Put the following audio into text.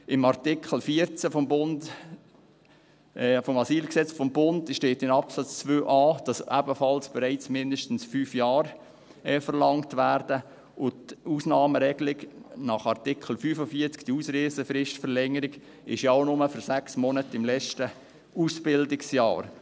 In Artikel 14 AsylG steht in Absatz 2a, dass ebenfalls bereits mindestens 5 Jahre verlangt werden, und die Ausnahmeregelung nach Artikel 45, die Ausreisefristverlängerung, gilt ja auch nur für 6 Monate im letzten Ausbildungsjahr.